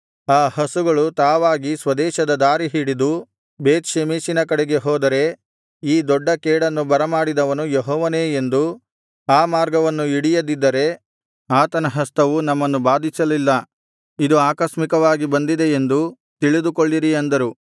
ಅ ಹಸುಗಳು ತಾವಾಗಿ ಸ್ವದೇಶದ ದಾರಿ ಹಿಡಿದು ಬೇತ್ ಷೆಮೆಷಿನ ಕಡೆಗೆ ಹೋದರೆ ಈ ದೊಡ್ಡ ಕೇಡನ್ನು ಬರಮಾಡಿದವನು ಯೆಹೋವನೇ ಎಂದೂ ಆ ಮಾರ್ಗವನ್ನು ಹಿಡಿಯದಿದ್ದರೆ ಆತನ ಹಸ್ತವು ನಮ್ಮನ್ನು ಬಾಧಿಸಲ್ಲಿಲ್ಲ ಇದು ಆಕಸ್ಮಿಕವಾಗಿ ಬಂದಿದೆ ಎಂದು ತಿಳಿದುಕೊಳ್ಳಿರಿ ಅಂದರು